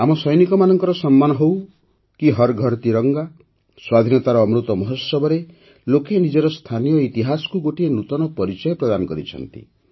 ଆମ ସୈନିକମାନଙ୍କ ସମ୍ମାନ ହେଉ କି ହର୍ ଘର୍ ତିରଙ୍ଗା ସ୍ୱାଧୀନତାର ଅମୃତ ମହୋତ୍ସବରେ ଲୋକେ ନିଜର ସ୍ଥାନୀୟ ଇତିହାସକୁ ଗୋଟିଏ ନୂତନ ପରିଚୟ ପ୍ରଦାନ କରିଛନ୍ତି